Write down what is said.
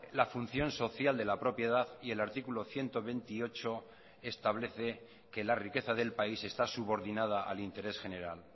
la función social de la propiedad y el artículo ciento veintiocho establece que la riqueza del país está subordinada al interés general